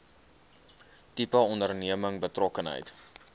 tipe onderneming betrokkenheid